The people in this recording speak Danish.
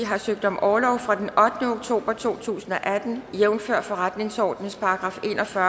har søgt om orlov fra den ottende oktober to tusind og atten jævnfør forretningsordenens § en og fyrre